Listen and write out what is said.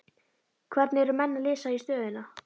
Hvernig eru menn að lesa í stöðuna?